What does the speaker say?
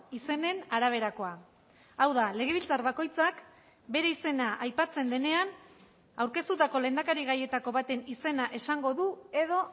izenen araberakoa hau da legebiltzar bakoitzak bere izena aipatzen denean aurkeztutako lehendakari gaietako baten izena esango du edo